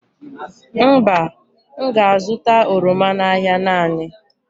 Mba, m ga-azụta oroma n'ahịa naanị.